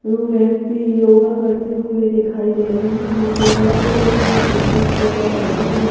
ओ व्यक्ति योगा करते हुए दिखाई दे रहे हैं दीवार पे भी किसी चीज का स्टीकर लगा है।